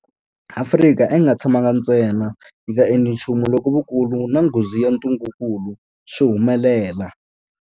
Afrika a yi nga tshamangi ntsena yi nga endli nchumu loko vukulu na nghozi ya ntungukulu swi humelela.